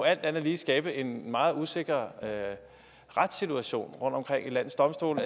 alt andet lige skabe en meget usikker retssituation rundtomkring i landets domstole